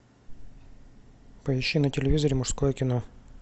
поищи на телевизоре мужское кино